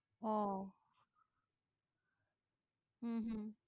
ওহ হম হম